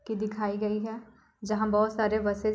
की दिखाई गई है जहाँ बहुत सारे बसेस --